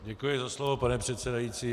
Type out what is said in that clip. Děkuji za slovo, pane předsedající.